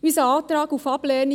Unser Antrag auf Ablehnung